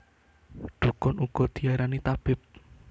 Dhukun uga diarani tabib